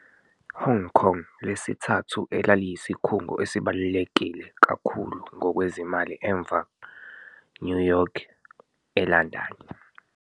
Hong Kong lesithathu elaliyisikhungo esibalulekile kakhulu ngokwezimali emva New York le London.